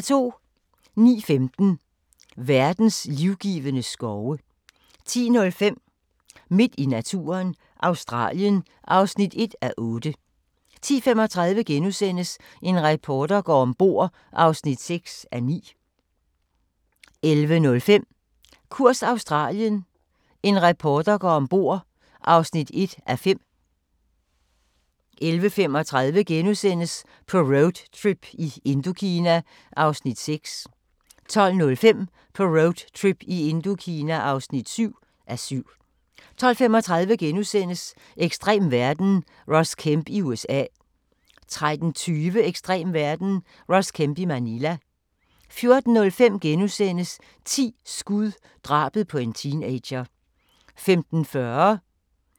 09:15: Verdens livgivende skove 10:05: Midt i naturen – Australien (1:8) 10:35: En reporter går om bord (6:9)* 11:05: Kurs Australien – en reporter går ombord (1:5) 11:35: På roadtrip i Indokina (6:7)* 12:05: På roadtrip i Indokina (7:7) 12:35: Ekstrem verden – Ross Kemp i USA * 13:20: Ekstrem verden – Ross Kemp i Manila 14:05: 10 skud – drabet på en teenager *